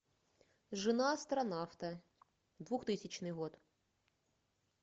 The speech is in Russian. жена астронавта двухтысячный год